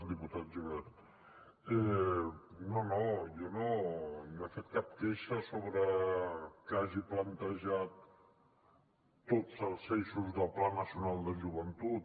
diputat gibert no no jo no he fet cap queixa sobre que hagi plantejat tots els eixos del pla nacional de joventut